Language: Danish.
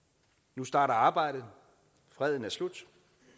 nu starter arbejdet freden er slut